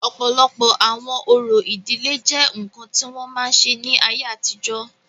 ọ̀pọ̀lọpọ̀ àwọn orò ìdílé jẹ́ ǹkan tí wọ́n máa ń ṣe ní ayé àtijọ́